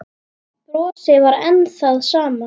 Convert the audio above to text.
Brosið var enn það sama.